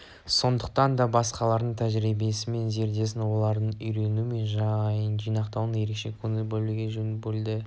сондықтан да басқалардың тәжірибесі мен зердесіне оларды үйрену мен жинақтауға ерекше көңіл бөлінгені жөн бұл